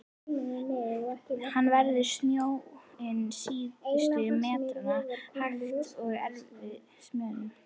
Hann veður snjóinn síðustu metrana, hægt, og með erfiðismunum.